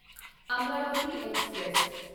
Amaravati express